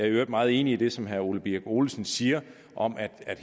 i øvrigt meget enig i det som herre ole birk olesen siger om at